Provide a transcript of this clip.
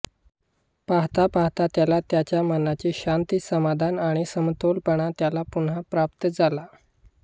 पहाता पहाता त्याला त्याच्या मनाची शांति समाधान आणि समतोलपणा त्याला पुन्हा प्राप्त झाला